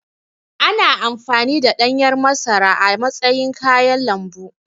Ana amfani da ɗanyar masara a matsayin kayan lambu.